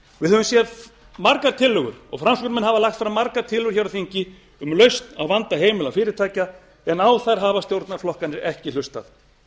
við höfum séð margar tillögur og framsóknarmenn hafa lagt fram margar tillögur hér á þingi um lausn á vanda heimila og fyrirtækja en á þær hafa stjórnarflokkarnir ekki hlustað